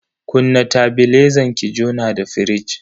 Kunna tebilezan ki jona da firij.